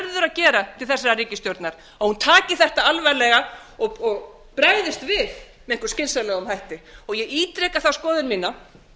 gera til þessarar ríkisstjórnar að hún taki þetta alvarlega og bregðist við með einhverjum skynsamlegum hætti ég ítreka þá skoðun mína